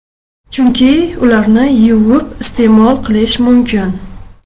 Chunki ularni yuvib iste’mol qilish mumkin.